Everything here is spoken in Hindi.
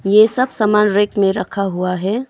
ये सब समान रैक में रखा हुआ है।